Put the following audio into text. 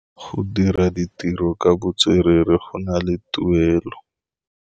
Go dira ditirô ka botswerere go na le tuelô.